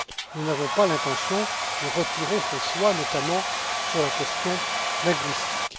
Nous n'avons pas l'intention de retirer ce choix, notamment sur la question linguistique.